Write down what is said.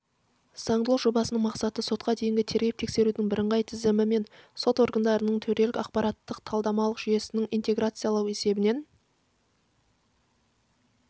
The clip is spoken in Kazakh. заңдылық жобасының мақсаты сотқа дейінгі тергеп-тексерудің бірыңғай тізілімі мен сот органдарының төрелік ақпараттық-талдамалық жүйесін интеграциялау есебінен